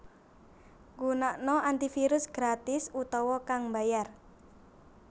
Gunakna antivirus gratis utawa kang mbayar